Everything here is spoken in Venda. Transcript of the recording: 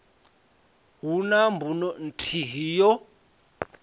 hu na mbuno nthihi yo